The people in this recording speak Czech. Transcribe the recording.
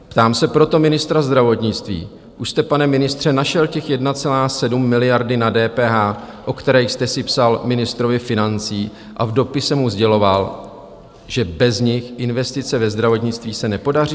Ptám se proto ministra zdravotnictví: Už jste, pane ministře, našel těch 1,7 miliardy na DPH, o které jste si psal ministrovi financí, a v dopise mu sděloval, že bez nich investice ve zdravotnictví se nepodaří?